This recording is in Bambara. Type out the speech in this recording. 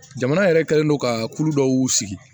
Jamana yɛrɛ kɛlen don ka kulu dɔw sigi